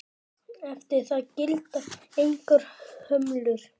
Eftir það gilda engar hömlur.